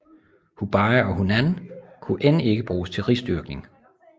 Hubei og Hunan kunne end ikke bruges til risdyrkning